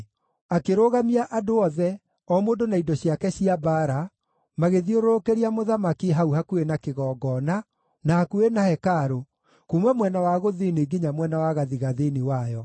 Akĩrũgamia andũ othe, o mũndũ na indo ciake cia mbaara, magĩthiũrũrũkĩria mũthamaki, hau hakuhĩ na kĩgongona, na hakuhĩ na hekarũ, kuuma mwena wa gũthini nginya mwene wa gathigathini wayo.